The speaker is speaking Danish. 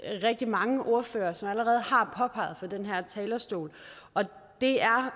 rigtig mange ordførere som allerede har påpeget fra den her talerstol og det er